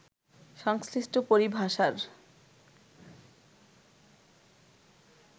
সংশ্লিষ্ট পরিভাষার